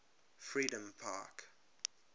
freedompark